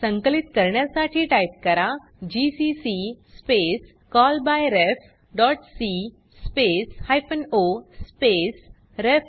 संकलित करण्यासाठी टाइप करा GCC space call by ref dot c space hyphen o space ref